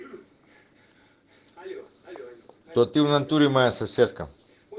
то ты в натуре моя соседка